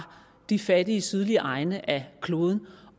de fattige sydlige egne af kloden